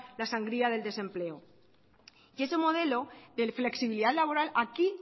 la sangría del desempleo y ese modelo de flexibilidad laboral aquí